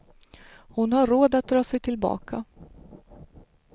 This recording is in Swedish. Hon har råd att dra sig tillbaka.